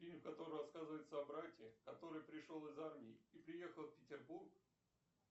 фильм в котором рассказывается о брате который пришел из армии и приехал в петербург